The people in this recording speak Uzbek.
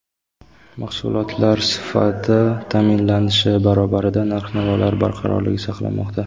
Mahsulotlar sifati ta’minlanishi barobarida narx-navolar barqarorligi saqlanmoqda.